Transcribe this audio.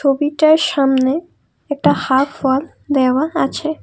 সামনে একটা half wall দেওয়াল আছে।